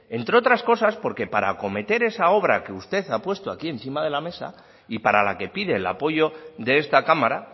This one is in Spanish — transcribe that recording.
entre otras cosas porque para acometer esa obra que usted ha puesto aquí encima de la mesa y para la que pide el apoyo de esta cámara